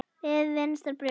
Við vinstra brjóst.